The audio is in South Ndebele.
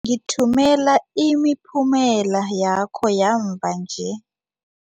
Ngithumela imiphumela yakho yamva nje.